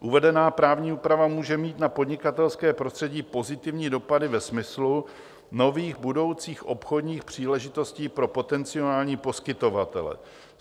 "Uvedená právní úprava může mít na podnikatelské prostředí pozitivní dopady ve smyslu nových budoucích obchodních příležitostí pro potenciální poskytovatele.